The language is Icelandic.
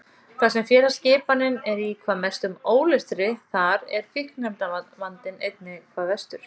Þar sem félagsskipanin er í hvað mestum ólestri þar er fíkniefnavandinn einnig hvað verstur.